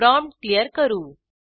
prompt clear करू